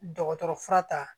Dɔgɔtɔrɔ fura ta